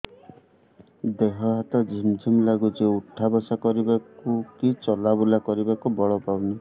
ଦେହେ ହାତ ଝିମ୍ ଝିମ୍ ଲାଗୁଚି ଉଠା ବସା କରିବାକୁ କି ଚଲା ବୁଲା କରିବାକୁ ବଳ ପାଉନି